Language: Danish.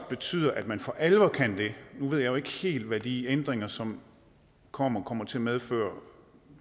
betyder at man for alvor kan det nu ved jeg jo ikke helt hvad de ændringer som kommer kommer til at medføre